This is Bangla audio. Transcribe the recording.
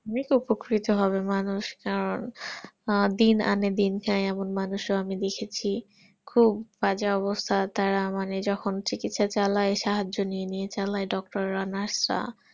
অনেক উপকৃত হবে মানুষ আহ দিন যাই দিন চাই অনেক মানুষ আমি দেখেছি খুব বাজে অবস্থা তারা যখন চিকিৎসা চালায় সাহায্য নিয়ে নিয়ে চালায় doctor রা nurse রা